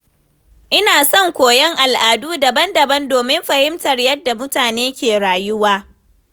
Ina son koyon al’adu daban-daban domin fahimtar yadda mutane ke rayuwa.